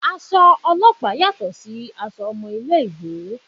Aṣọ ọlọ́pàá yàtọ̀ sí aṣọ ọmọ ilé-ìwé